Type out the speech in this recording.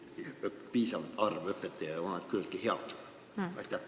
Kas meil on piisav arv õpetajaid ja kas nad on küllalt head?